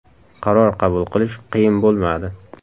Qaror qabul qilish qiyin bo‘lmadi.